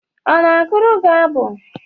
Ọ na gụrụ gị abụ?